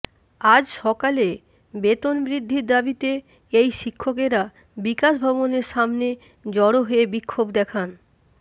আজ সকালে বেতন বৃদ্ধির দাবীতে এই শিক্ষকেরা বিকাশ ভবনের সামনে জড়ো হয়ে বিক্ষোভ দেখান